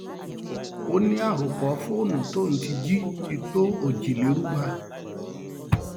ó ní àròpọ fóònù tóun ti jí ti tó òjìlérúgba